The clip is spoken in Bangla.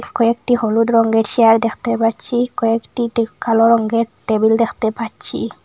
কয়েকটি হলুদ রঙ্গের চেয়ার দেখতে পাচ্ছি কয়েকটি কালো রঙ্গের টেবিল দেখতে পাচ্ছি।